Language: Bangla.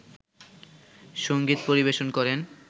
সংগীত পরিবেশন করেন